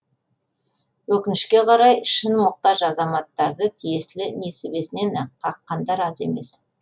өкінішке қарай шын мұқтаж азаматтарды тиесілі несібесінен қаққандар аз емес